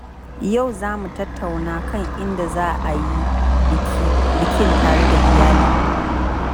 Yau, za mu tattauna kan inda za a yi bikin tare da iyali.